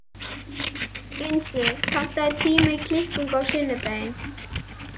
Unnsi, pantaðu tíma í klippingu á sunnudaginn.